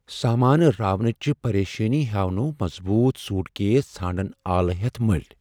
سامانہٕ راونٕچہِ پرشٲنی ہیاونوو مضبوط سوٹ کیس ژھانڈن آلہٕ ہیتھ مٔلۍ ۔